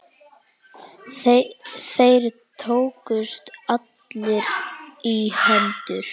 Þeir tókust allir í hendur.